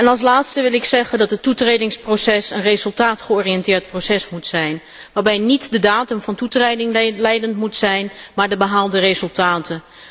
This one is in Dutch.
Als laatste wil ik zeggen dat het toetredingsproces een resultaatgericht proces moet zijn, waarbij niet de datum van toetreding leidend moet zijn, maar de behaalde resultaten.